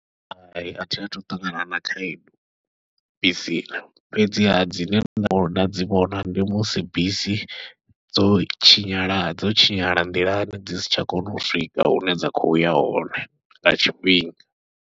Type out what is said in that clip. Hai athi athu u ṱangana na khaedu bisini, fhedziha dzine nṋe nda dzi vhona ndi musi bisi dzo tshinyala dzo tshinyala nḓilani dzi si tsha kona u swika hune dza khoya hone nga tshifhinga.